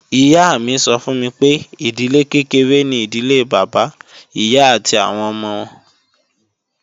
Ìyá mi sọ fún mi pé, ìdílé kékeré ni ìdílé Bàbá, Ìyá, àti àwọn ọmọ